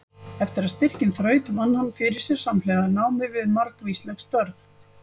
Eftir að styrkinn þraut vann hann fyrir sér samhliða námi við margvísleg störf.